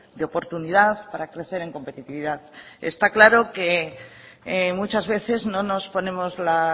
de oportunidad para crecer en competitividad está claro que muchas veces no nos ponemos la